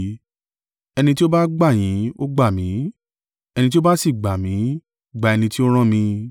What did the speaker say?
“Ẹni tí ó bá gbà yín, ó gbà mí, ẹni tí ó bá sì gbà mí gba ẹni tí ó rán mi.